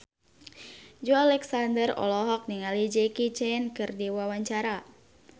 Joey Alexander olohok ningali Jackie Chan keur diwawancara